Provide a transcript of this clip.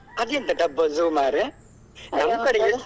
ಅದೆಂತ ಡಬ್ಬಾ zoo ಮರ್ರೆ ನಮ್ಮ ಕಡೆ ಎಂತ.